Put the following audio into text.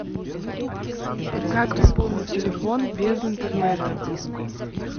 как пополнить телефон без интернета